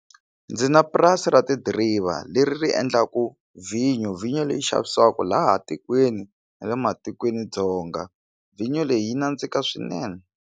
Ndzi na purasi ra ti driva leri ri endlaku vhinyo vhinyo leyi xavisiwaka laha tikweni na le matikweni dzonga vhinyo leyi yi nandzika swinene.